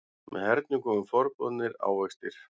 Með hernum komu forboðnir ávextir.